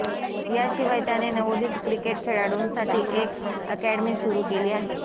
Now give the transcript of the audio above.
याशिवाय त्याने नवोदित क्रिकेट खेळाडूंसाठी एक अॅकॅडमी सुरु केली आहे